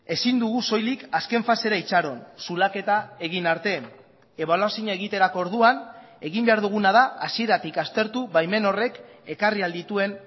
ezin dugu soilik azken fasera itxaron zulaketa egin arte ebaluazioa egiterako orduan egin behar duguna da hasieratik aztertu baimen horrek ekarri ahal dituen